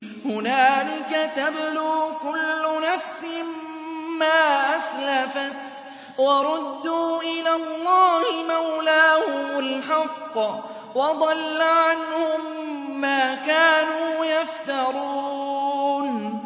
هُنَالِكَ تَبْلُو كُلُّ نَفْسٍ مَّا أَسْلَفَتْ ۚ وَرُدُّوا إِلَى اللَّهِ مَوْلَاهُمُ الْحَقِّ ۖ وَضَلَّ عَنْهُم مَّا كَانُوا يَفْتَرُونَ